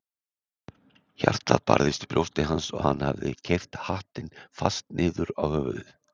Hjartað barðist í brjósti hans og hann hafði keyrt hattinn fast niður á höfuðið.